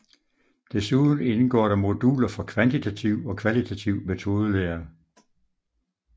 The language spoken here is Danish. Desuden indgår der moduler for kvantitativ og kvalitativ metodelære